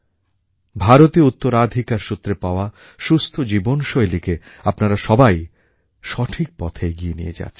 ভারতীয় উত্তরাধিকার সূত্রে পাওয়া সুস্থ জীবনশৈলীকে আপনারা সবাই সঠিক পথে এগিয়ে নিয়ে যাচ্ছেন